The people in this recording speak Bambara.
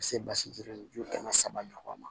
Ka se basiri ju kɛmɛ saba ɲɔgɔn na